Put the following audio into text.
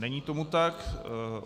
Není tomu tak.